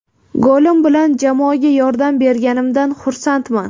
Golim bilan jamoaga yordam berganimdan xursandman.